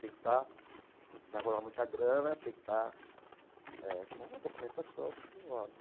Tem que estar, vai rolar muita grana, tem que estar eh com a documentação, tudo em ordem.